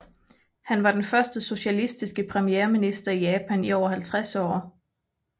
Han var den første socialistiske premierminister i Japan i over halvtreds år